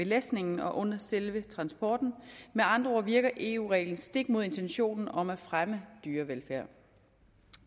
læsningen og under selve transporten med andre ord virker eu reglen stik mod intentionen om at fremme dyrevelfærd